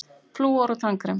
FLÚOR OG TANNVERND